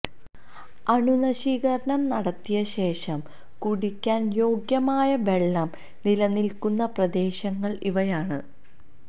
അണുനശീകരണം നടത്തിയ ശേഷം കുടിക്കാന് യോഗ്യമായ വെള്ളം നിലനില്ക്കുന്ന പ്രദേശങ്ങള് ഇവയാണ്